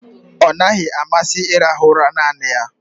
Ọ naghị amasị ịrahụ ụra naanị ya.